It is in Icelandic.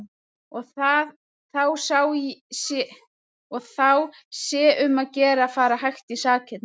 Og þá sé um að gera að fara hægt í sakirnar.